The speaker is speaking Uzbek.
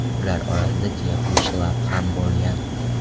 Ular orasida Jeffri Shlupp ham bo‘lgan.